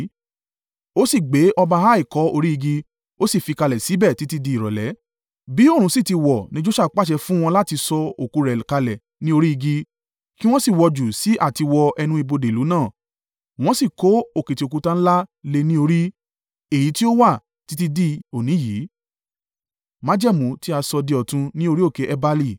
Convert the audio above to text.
Ó sì gbé ọba Ai kọ́ orí igi, ó sì fi kalẹ̀ síbẹ̀ títí di ìrọ̀lẹ́. Bí oòrùn sì ti wọ̀ ni Joṣua pàṣẹ fún wọn láti sọ òkú rẹ̀ kalẹ̀ kúrò ní orí igi, kí wọn sì wọ́ ọ jù sí àtiwọ ẹnu ibodè ìlú náà. Wọ́n sì kó òkìtì òkúta ńlá lé e ní orí, èyí tí ó wà títí di òní yìí.